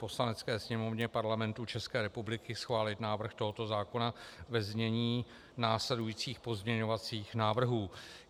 Poslanecké sněmovně Parlamentu České republiky schválit návrh tohoto zákona ve znění následujících pozměňovacích návrhů.